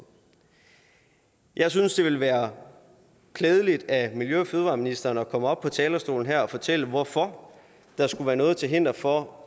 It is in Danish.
jeg synes det ville være klædeligt af miljø og fødevareministeren at komme op på talerstolen her og fortælle hvorfor der skulle være noget til hinder for